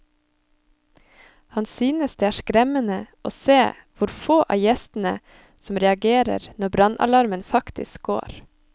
Han synes det er skremmende å se hvor få av gjestene som reagerer når brannalarmen faktisk går.